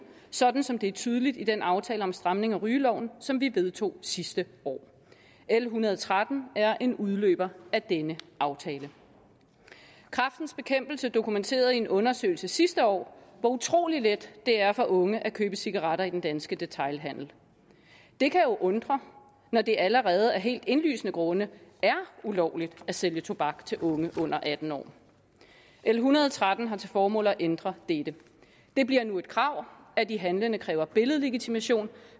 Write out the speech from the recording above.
sådan som det er tydeligt i den aftale om stramning af rygeloven som vi vedtog sidste år l en hundrede og tretten er en udløber af denne aftale kræftens bekæmpelse dokumenterede i en undersøgelse sidste år hvor utrolig let det er for unge at købe cigaretter i den danske detailhandel det kan jo undre når det allerede af helt indlysende grunde er ulovligt at sælge tobak til unge under atten år l en hundrede og tretten har til formål at ændre dette det bliver nu et krav at de handlende kræver billedlegitimation